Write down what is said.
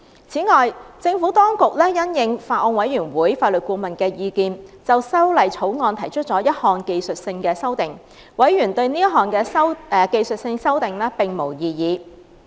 此外，政府當局因應法案委員會法律顧問的意見，就《條例草案》提出了一項技術性修訂，委員對這項技術性修訂並無異議。